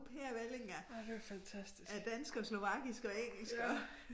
Pærevælling af af dansk og slovakisk og engelsk og